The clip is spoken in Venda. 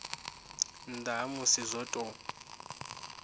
nnda ha musi zwo tou